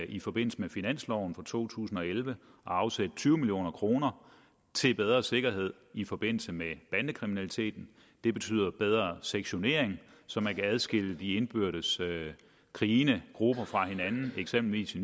i forbindelse med finansloven for to tusind og elleve at afsætte tyve million kroner til bedre sikkerhed i forbindelse med bandekriminaliteten det betyder bedre sektionering så man kan adskille de indbyrdes krigende grupper fra hinanden eksempelvis i